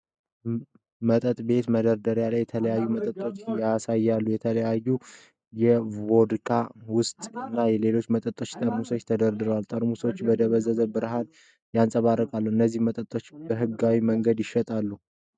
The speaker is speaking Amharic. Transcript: መጠጥ ቤት መደርደሪያ ላይ የተለያዩ መጠጦች ያሳያል። የተለያዩ የቮድካ፣ ውስኪ እና ሌሎች መጠጦች ጠርሙሶች ተደርድረዋል። ጠርሙሶቹም በደብዛዛ ብርሃን ያንጸባርቃሉ። እነዚህ መጠጦች በህጋዊ መንገድ ይሸጣሉ?